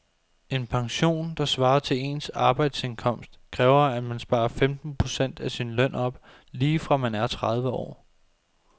En pension, der svarer til ens arbejdsindkomst, kræver at man sparer femten procent af sin løn op lige fra man er tredive år.